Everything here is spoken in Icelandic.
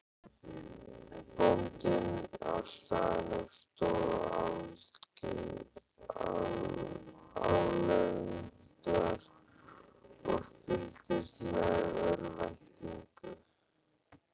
Bóndinn á staðnum stóð álengdar og fylgdist með í örvæntingu.